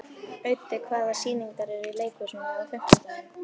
Auddi, hvaða sýningar eru í leikhúsinu á fimmtudaginn?